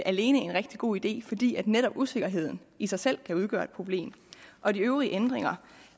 alene en rigtig god idé fordi netop usikkerheden i sig selv kan udgøre et problem og de øvrige ændringer